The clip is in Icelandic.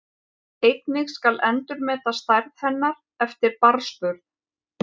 Einnig skal endurmeta stærð hennar eftir barnsburð.